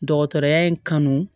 Dɔgɔtɔrɔya in kanu